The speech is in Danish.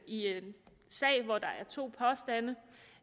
i en sag hvor der er to påstande